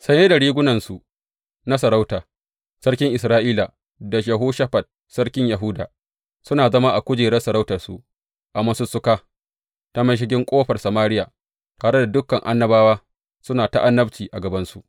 Saye da rigunansu na sarauta, sarkin Isra’ila da Yehoshafat sarkin Yahuda suna zama a kujerun sarautarsu a masussuka ta mashigin ƙofar Samariya, tare da dukan annabawa suna ta annabci a gabansu.